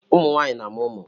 Ụmụ nwaanyị na-amụ ụmụ.